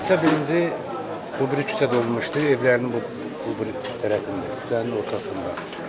Hadisə birinci bu biri küçədə olmuşdu, evlərinin bu tərəfində, küçənin ortasında.